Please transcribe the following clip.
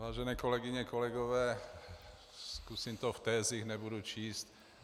Vážené kolegyně, kolegové, zkusím to v tezích, nebudu číst.